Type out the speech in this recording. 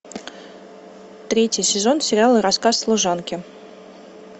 третий сезон сериала рассказ служанки